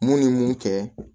Mun ye mun kɛ